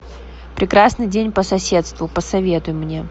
прекрасный день по соседству посоветуй мне